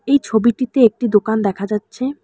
এই ছবিটিতে একটি দোকান দেখা যাচ্ছে।